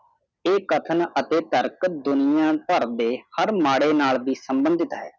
ਇਹ ਕਫ਼ਨ ਅਤੇ ਕਾਰਕ ਦੁਨੀਆਂ ਭਾਰ ਦੇ ਹਰ ਮਾੜੇ ਨਾਲ ਸਬੰਦੀਦਾਤ ਹੈ